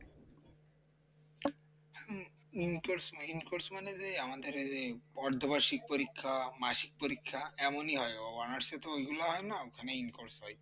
hmm in course না in course মানে যে আমাদের এই যে অর্ধবার্ষিকী পরীক্ষা মাসিক পরীক্ষা এমনই হয় honours এ তো ওইগুলা হয় না ওখানে in course হয়